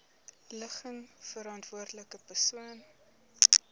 ligging verantwoordelike persoon